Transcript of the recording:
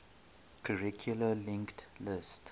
circularly linked list